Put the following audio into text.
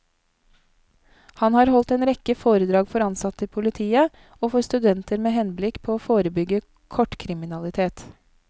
Han har holdt en rekke foredrag for ansatte i politiet og for studenter med henblikk på å forebygge kortkriminalitet.